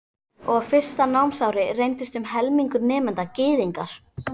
Og á fyrsta námsári reyndist um helmingur nemenda Gyðingar.